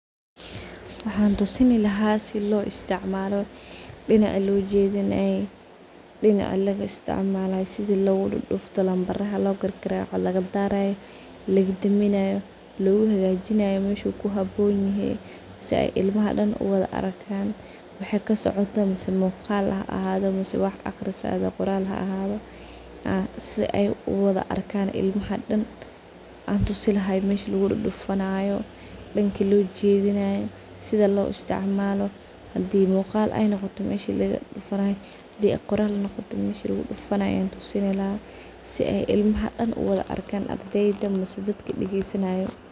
Waxan tusini lahay si lo istacmalo, dinaci lojidinay, dinaci laga istacmalay, sidi lowdadufto lambaraha logargaraco lagadaraya, lagadaminayo, lowhagajinayo meshu kuhabonyahay si ay ilmaha dan uwala arkan waxay kasocoto mase muqal a hado mase wax aqris e qoral ha hado si ay uwala arkan ilmaha dan antusi lahay meshi lugu dudufunayo, danki lojidinayo sidi lo istacmalo hadi muqal ay noqoto meshi lugudufunay haday qoral noqoto meshi lugudufunay an tusini lahay si ay ilmaha dan uwala arkan masne dadki dageysanayo.